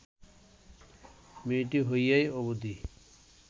মেয়েটি হইয়া অবধি